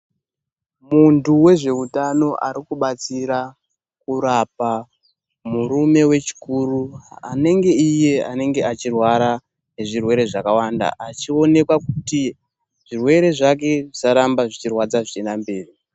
Muntu wezveutano ari kubatsira kurapa murume wechikuru ,anenge iye anenge achirwara nezvirwere zvakawanda. Achionekwa kuti zvirwere zvake zvisaramba zvechirwadza zvichienda mberi.